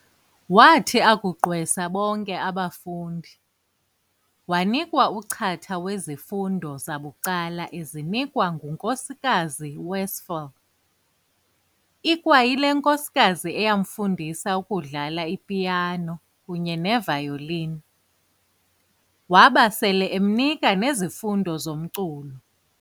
Waathi akuqgwesa bonke abafundi, waanikwa uchatha wezifundo zabucala ezinikwa nguNkosikazi Westphal, ikwayile nkosikazi eyamfundisa ukudlala i-piano kunye ne-violini, waba sele emnika nezifundo zomculo.